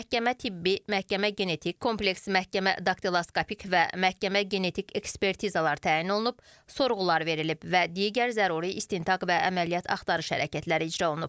Məhkəmə tibbi, məhkəmə genetik, kompleks məhkəmə, daktiloskopik və məhkəmə genetik ekspertizalar təyin olunub, sorğular verilib və digər zəruri istintaq və əməliyyat axtarış hərəkətləri icra olunub.